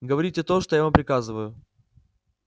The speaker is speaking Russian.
говорите то что я вам приказываю